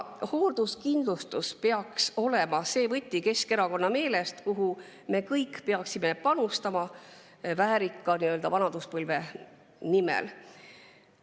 Hoolduskindlustus peaks Keskerakonna meelest olema see võti, sellesse me peaksime kõik väärika vanaduspõlve nimel panustama.